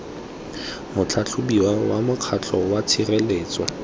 motlhatlhobiwa wa mokgatlho wa tshireletso